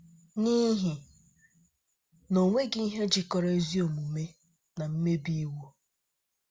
“ N’ihi na onweghi ihe jikọrọ ezi omume na mmebi iwu?